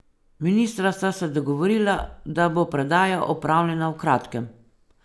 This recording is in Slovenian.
Ministra sta se dogovorila, da bo predaja opravljena v kratkem.